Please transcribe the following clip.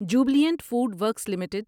Jubilant food works limited